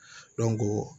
Dɔnko